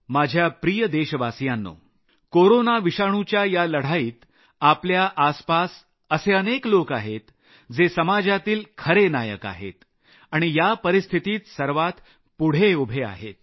माझ्या प्रिय देशवासियांनो कोरोना विषाणुच्या या लढाईत आपल्या आसपास असे अनेक लोक आहेत जे समाजातील खरे नायक आहेत आणि या परिस्थितीत सर्वात पुढे उभे आहेत